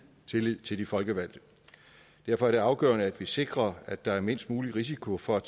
tillid til de folkevalgte derfor er det afgørende at vi sikrer at der er mindst mulig risiko for at